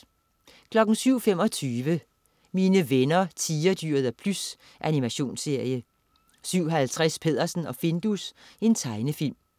07.25 Mine venner Tigerdyret og Plys. Animationsserie 07.50 Peddersen og Findus. Tegnefilm